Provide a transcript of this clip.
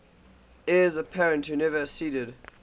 heirs apparent who never acceded